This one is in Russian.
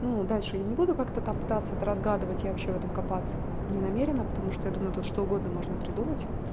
ну дальше я не буду как-то там пытаться это разгадывать я вообще в этом копаться не намерена потому что я думаю тут что угодно можно придумать